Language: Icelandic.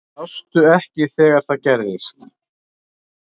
Sástu ekki þegar það gerðist?